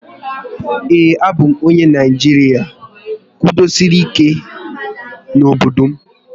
Ee, a bụ m onye Naijiria kwudosiri ike n'obodo m